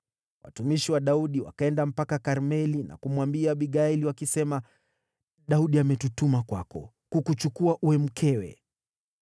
Watumishi wa Daudi wakaenda mpaka Karmeli na kumwambia Abigaili, wakisema, “Daudi ametutuma kwako kukuchukua uwe mkewe.”